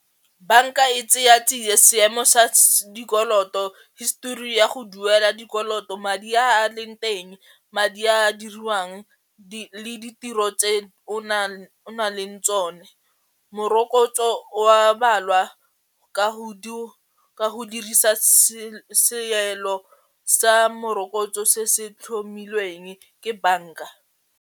Banka e tseya tsie seemo sa dikoloto, histori ya go duela dikoloto, madi a a leng teng, madi a diriwang ditiro tse o na o nang le tsone, morokotso wa balwa ka ka go dirisa seelo sa morokotso se se tlhomilweng ke banka.